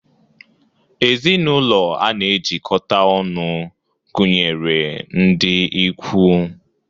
Ezinụlọ a na-ejikọta ọnụ gụnyere ndị ikwu.